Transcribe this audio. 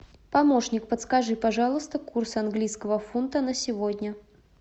помощник подскажи пожалуйста курс английского фунта на сегодня